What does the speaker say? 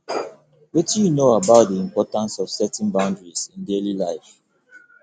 wetin you know about di importance of setting boundaries in daily life